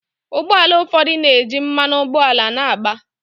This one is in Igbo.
Ụgbọ ala ụfọdụ na-eji mmanụ ụgbọala na-agba.